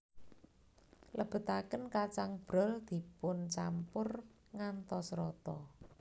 Lebetaken kacang brol dipuncampur ngantos rata